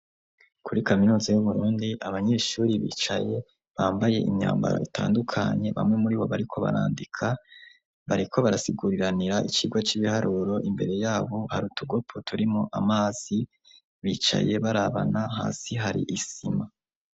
Kuri kaminozi y' umurundi abanyeshuri bicaye bambaye imyambara itandukanye bamwe muri bo bariko barandika bareko barasiguriranira ikirwa c'ibiharuro imbere yabo haruta ugopo turimo amazi bicaye barabana hasi hari isima.